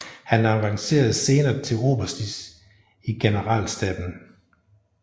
Han avancerede senere til oberst i generalstaben